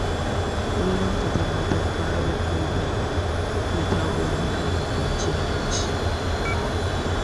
A kullum ka tabbatar ka rufe ƙofa da tagogi kafin kwanciya bacci.